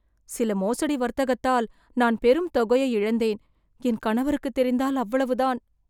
சில மோசடி வர்த்தகத்தால் நான் பெரும் தொகையை இழந்தேன், என் கணவருக்குத் தெரிந்தால் அவ்வளவுதான்